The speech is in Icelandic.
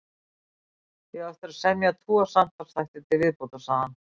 Ég á eftir að semja tvo samtalsþætti til viðbótar, segir hann.